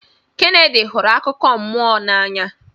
Kennedy hụrụ akụkọ mmụọ n'anya